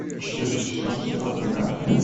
четвертый сезон сериала бригада